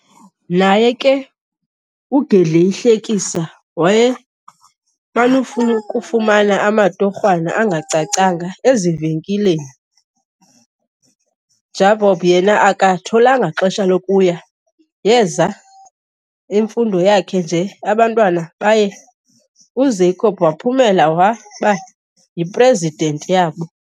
Naye ke uGedleyihlekisa wayeman'ukufumana amatorhwana angacacanga ezivenkileni.jabob yena aka tholanga xeshaa lokuya yeza emfundo zake nje abantwana baye u zacob waphumela waba hi president yabo